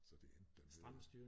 Så det endte da med